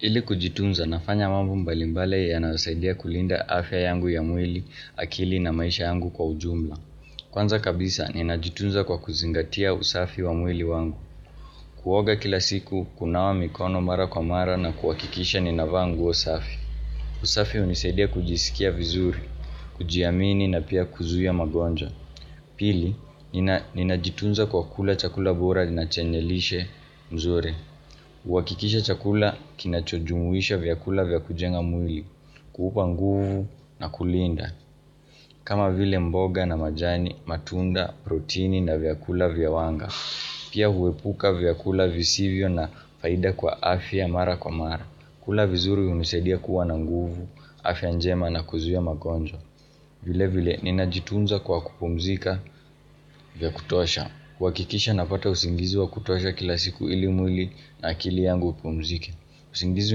Ili kujitunza nafanya mambo mbalimbali yanayosaidia kulinda afya yangu ya mwili akili na maisha yangu kwa ujumla Kwanza kabisa ninajitunza kwa kuzingatia usafi wa mwili wangu Kuoga kila siku kunawa mikono mara kwa mara na kuhakikisha ninavaa nguo usafi usafi hunisaidia kujisikia vizuri, kujiamini na pia kuzuia magonjwa Pili, ninajitunza kwa kula chakula bora nachenye lishe mzuri hUhakikisha chakula kina chojumuisha vyakula vyakujenga mwili kuupa nguvu na kulinda kama vile mboga na majani, matunda, protini na vyakula vya wanga Pia huepuka vyakula visivyo na faida kwa afya mara kwa mara kula vizuri hunisaidia kuwa na nguvu, afya njema na kuzuia magonjwa vile vile ninajitunza kwa kupumzika vyakutosha kuhakikisha napata usingizi wa kutosha kila siku ili mwili na akili yangu ipumzike usingizi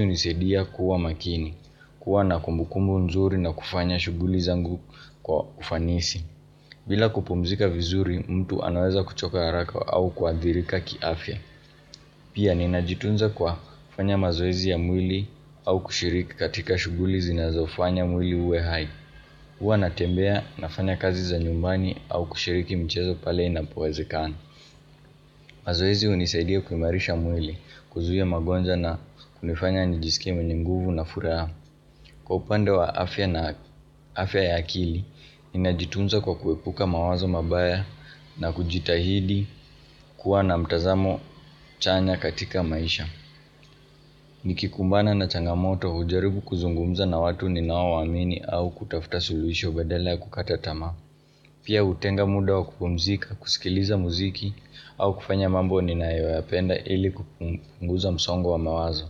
hunisaidia kuwa makini kuwa na kumbukumbu nzuri na kufanya shughuli zangu kwa ufanisi bila kupumzika vizuri mtu anaweza kuchoka haraka au kuadhirika kiafya Pia ninajitunza kwa kufanya mazoezi ya mwili au kushiriki katika shughuli zinazofanya mwili uwe hai hUwa natembea na fanya kazi za nyumbani au kushiriki michezo pale ina powezekana mazoezi hunisaidia kuimarisha mwili kuzuia magonjwa na kunifanya nijisike mwenye mguvu na furaha Kwa upande wa afya na afya ya akili, ninajitunza kwa kuepuka mawazo mabaya na kujitahidi kuwa na mtazamo chanya katika maisha Nikikumbana na changamoto hujaribu kuzungumza na watu ninaowaamini au kutafuta suluhisho badala ya kukata tamaa Pia hutenga muda wa kupumzika, kusikiliza muziki, au kufanya mambo ninayoyapenda ili kupunguza msongo wa mawazo.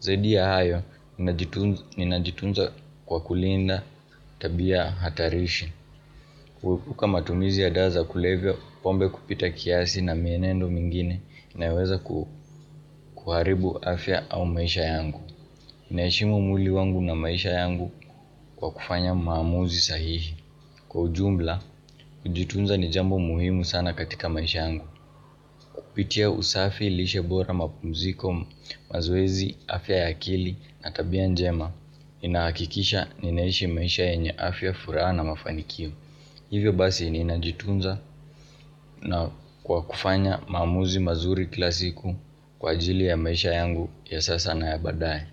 Zaidi ya hayo, ninajitunza kwa kulinda tabia hatarishi. Kuepuka matumizi ya dawa za kulevya, pombe kupita kiasi na mienendo mingine, inaeweza kuharibu afya au maisha yangu. Naheshimu mwili wangu na maisha yangu kwa kufanya maamuzi sahihi. Kwa ujumla, kujitunza ni jambo muhimu sana katika maisha yangu. Kupitia usafi lishe bora mapumziko mazoezi, afya ya akili na tabia njema. Inahakikisha ninaishi maisha yenye afya furaha na mafanikio. Hivyo basi ninajitunza na kwa kufanya maamuzi mazuri kila siku kwa ajili ya maisha yangu ya sasa na ya baadaye.